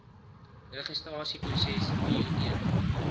registrasieproses duur een